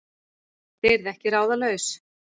Þú deyrð ekki ráðalaus